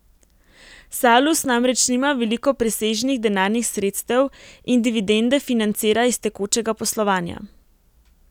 Salus namreč nima veliko presežnih denarnih sredstev in dividende financira iz tekočega poslovanja.